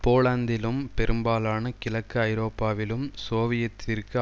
போலந்திலும் பெரும்பாலான கிழக்கு ஐரோப்பாவிலும் சோவியத்திற்கு